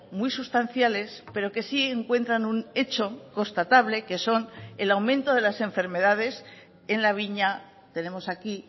muy sustanciales pero que sí encuentran un hecho constatable que son el aumento de las enfermedades en la viña tenemos aquí